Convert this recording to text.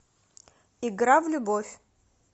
игра в любовь